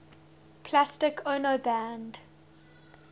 plastic ono band